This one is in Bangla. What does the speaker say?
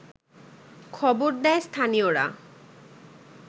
খবর দেয় স্থানীয়রা